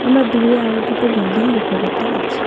আমরা দূরে আরো দুটো বিল্ডিং লক্ষ্য করতে পাচ্ছি।